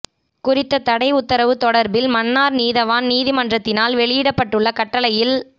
குறித்த தடை உத்தரவு தொடர்பில் மன்னார் நீதவான் நீதிமன்றத்தினால் வெளியிடப்பட்டுள்ள கட்டளையில்